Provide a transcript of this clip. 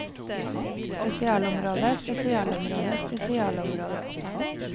spesialområde spesialområde spesialområde